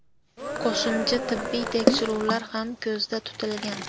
Qo‘shimcha tibbiy tekshiruvlar ham ko‘zda tutilgan.